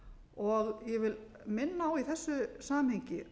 og ég vil minna á í þessu samhengi